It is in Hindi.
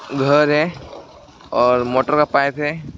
घर है और मोटर का पाइप है।